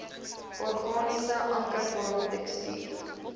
organiese ankervorm tekstuur